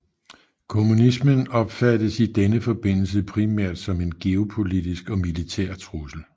Kommunismen opfattedes i denne forbindelse primært som en geopolitisk og militær trussel